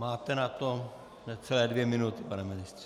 Máte na to necelé dvě minuty, pane ministře.